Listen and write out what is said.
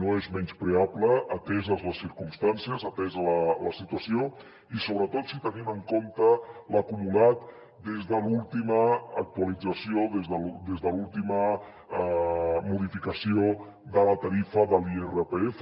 no és menyspreable ateses les circumstàncies atesa la situació i sobretot si tenim en compte l’acumulat des de l’última actualització des de l’última modificació de la tarifa de l’irpf